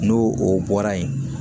N'o o bɔra yen